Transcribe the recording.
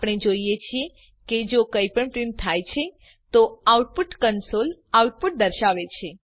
આપણે જોઈએ છીએ કે જો કઈપણ પ્રીંટ થાય છે તો આઉટપુટ કંસોલ આઉટપુટ દર્શાવે છે